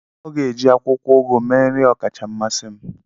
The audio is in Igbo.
Ọ ga-eji akwụkwọ ugu mee nri ọkacha mmasị m